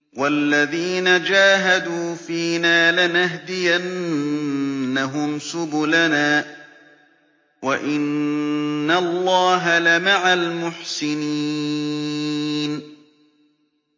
وَالَّذِينَ جَاهَدُوا فِينَا لَنَهْدِيَنَّهُمْ سُبُلَنَا ۚ وَإِنَّ اللَّهَ لَمَعَ الْمُحْسِنِينَ